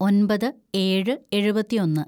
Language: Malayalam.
ഒന്‍പത് ഏഴ് എഴുപത്തിയൊന്ന്‌